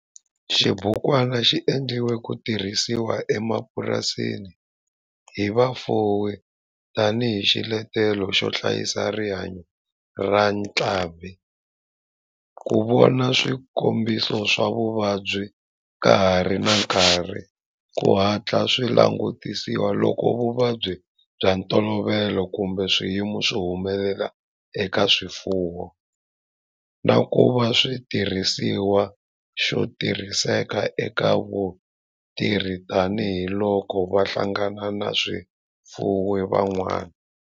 Xibukwana xi endliwe ku tirhisiwa emapurasini hi vafuwi tani hi xiletelo xo hlayisa rihanyo ra ntlhambhi, ku vona swikombiso swa vuvabyi ka ha ri na nkarhi ku hatla swi langutisiwa loko vuvabyi bya ntolovelo kumbe swiyimo swi humelela eka swifuwo, na ku va xitirhisiwa xo tirhiseka eka vatirhi tani hi loko va hlangana na vafuwi van'wana.